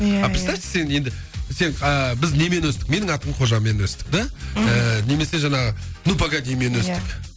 иә иә представьте сен енді сен ііі біз немен өстік менің аты қожамен өстік да мхм немесе жаңағы ну погодимен өстік иә